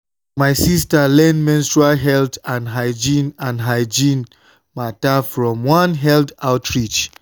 my sister learn menstrual health and hygiene and hygiene matter from one health outreach.